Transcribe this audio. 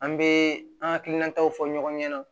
An bɛ an hakilinataw fɔ ɲɔgɔn ɲɛna